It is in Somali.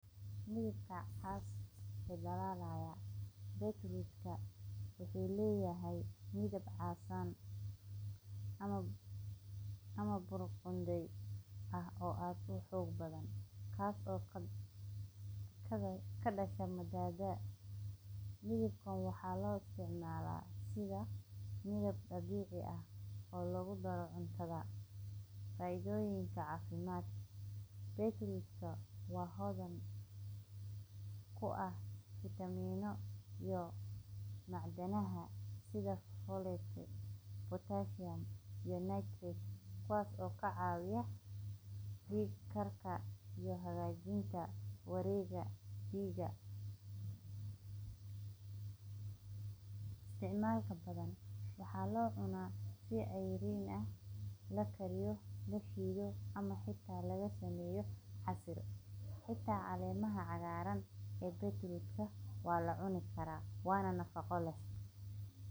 Dabacase waa midho aad u faa'iido badan oo leh dhadhan macaan oo qurux badan, kaas oo ay ku jiraan fiitamiino iyo mineralada taas oo ka dhigaysa cunto aad u wanaagsan oo kor u qaadeysa caafimaadka qofka, dabacase waxaa laga sameeyaa casho kala duwan sida salaatada, shurbada, cuntada la kariyo, iyo maltida, waxayna kor u qaadeysa dhiigga hagaagsan, yareeyeyaarida dhiigga hoose, taageerida samaynta dhiigga cusub, iyo xoojinta maskaxda, dabacase waxaa lagu isticmaali karaa si loo daboosho midho kale oo la isku macaan yahay sida carada, basasha, iyo baradaha, waxayna noqon kartaa qayb muhiim ah.